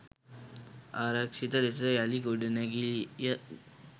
ආරක්ෂිත ලෙස යළි ගොඩනැගීය.